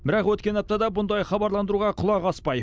бірақ өткен аптада бұндай хабарландыруға құлақ аспай